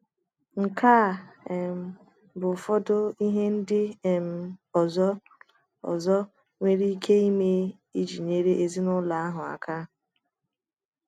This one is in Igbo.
Nke a um bụ ụfọdụ ihe ndị um ọzọ ọzọ nwere ike ime iji nyere ezinụlọ ahụ aka.